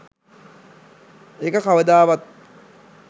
ඒක කවදාවත්